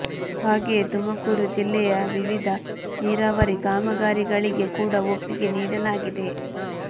ಹಾಗೆಯೇ ತುಮಕೂರು ಜಿಲ್ಲೆಯ ವಿವಿಧ ನೀರಾವರಿ ಕಾಮಗಾರಿಗಳಿಗೆ ಕೂಡ ಒಪ್ಪಿಗೆ ನೀಡಿಲಾಗಿದೆ